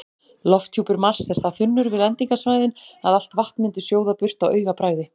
Lofthjúpur Mars er það þunnur við lendingarsvæðin að allt vatn myndi sjóða burt á augabragði.